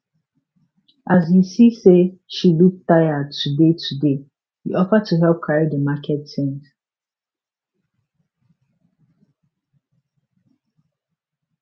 as he see say she look tired today today e offer to help carry di market things